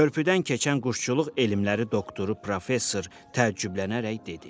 Körpüdən keçən quşçuluq elmləri doktoru professor təəccüblənərək dedi: